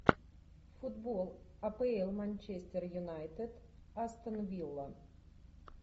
футбол апл манчестер юнайтед астон вилла